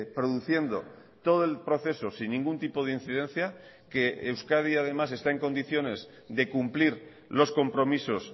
produciendo todo el proceso sin ningún tipo de incidencia que euskadi además está en condiciones de cumplir los compromisos